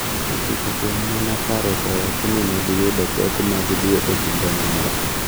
ochiko kuom mon apar osewacho ni ne giyudo pek mag dwe e kinde moro.